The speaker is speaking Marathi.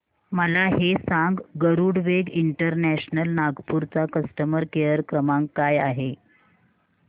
मला हे सांग गरुडवेग इंटरनॅशनल नागपूर चा कस्टमर केअर क्रमांक काय आहे